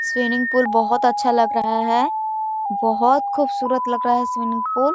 swimming pool बोहत अच्छा लग रहा है बोहत खुबसूरत लग रहा है स्विमिंग पूल --